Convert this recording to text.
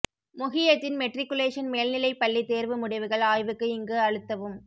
Mohideen matriculation மேல்நிலை பள்ளி தேர்வு முடிவுகள் ஆய்வுக்கு இங்கு அழுத்தவும்